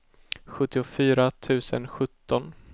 sjuttiofyra tusen sjutton